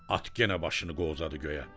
At yenə başını qovzadı göyə.